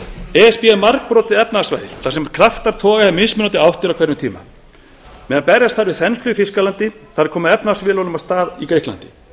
s b er margbrotið efnahagssvæði þar sem kraftar toga í mismunandi áttir á hverjum tíma meðan berjast þarf við þenslu í þýskalandi þarf að koma efnahagsvélunum af stað í grikklandi